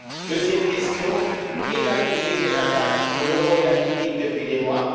Deuxième question qui est à l'origine des attaques dont l'euro est la victime depuis des mois?